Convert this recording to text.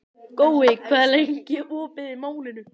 Gói, hvað er lengi opið í Málinu?